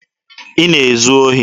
Ị na-ezu ohi?